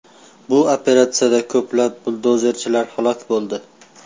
Bu operatsiyada ko‘plab buldozerchilar halok bo‘ldi.